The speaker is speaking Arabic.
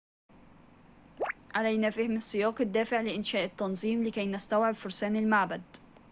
علينا فهم السياق الدافع لإنشاء التنظيم لكي نستوعب فرسان المعبد